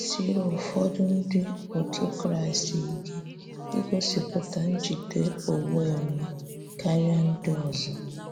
Ọ na - esiri ụfọdụ Ndị otú Kraịst ike igosipụta njide onwe onye karịa ndị ọzọ.